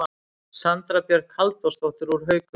Sandra Björk Halldórsdóttir úr Haukum